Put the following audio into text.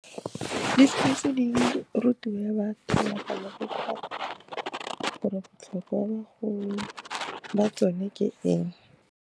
Di rutiwe batho gore botlhokwa ba tsone ke eng.